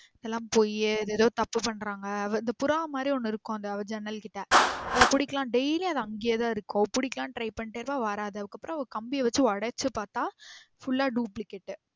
இதல்லாம் பொய் இது எதோ தப்பு பண்றாங்க. புறா மாரி ஒன்னு இருக்கும் அந்த அவ ஜன்னல் கிட்ட அத பிடிக்கலானு daily அது அங்கேயே தான் இருக்கும் அவ பிடிக்கலானு try பண்ணிடே இருப்பா அது வராது. அதுக்கு அப்புறம் கம்பிய வச்சு ஒடச்சு பாத்தா full ஆ duplicate